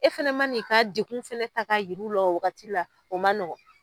E fana ma ni'i ka degun fɛnɛ ta ka yiri la, o wagati la o ma nɔgɔ